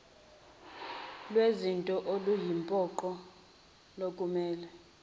lwezinto oluyimpoqo lokumele